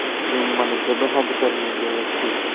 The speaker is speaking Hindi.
जुम्मन जब हज करने गये थे